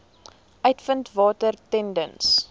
uitvind watter tenders